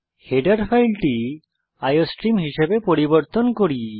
header ফাইলটি iostream হিসাবে পরিবর্তন করি